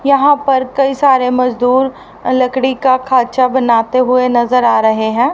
यहां पर कई सारे मजदूर लकड़ी का खाचा बनाते हुए नजर आ रहे हैं।